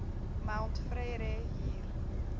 mount frere hier